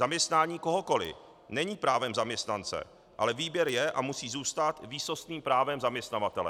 Zaměstnání kohokoliv není právem zaměstnance, ale výběr je a musí zůstat výsostným právem zaměstnavatele.